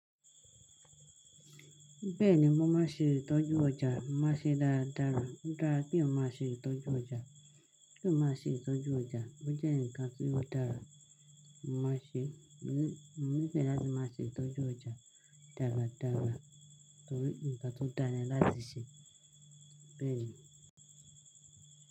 Bẹ́ẹ̀ni, mo máa ṣe ìtọ́jú ọjà. Mo máa ṣe dáradára. Ó dára ki eyaan má ṣe ìtọ́jú ọjà. Kí eeyan má ṣe ìtọ́jú ọjà. Ó jẹ́ ǹkan tí ó dára. Mo máa n ṣe, mo nífẹ̀ẹ́ láti máa ṣe ìtọ́jú ọjà dáradára torí ǹkan tó dáa ni láti ṣe. Bẹ́ẹ̀ni.